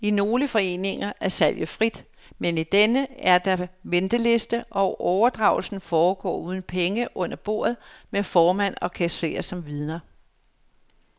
I nogle foreninger er salget frit, men i denne er der venteliste, og overdragelsen foregår uden penge under bordet med formand og kasserer som vidner.